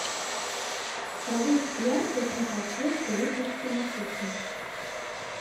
повысь яркость на подсветке вытяжки на кухне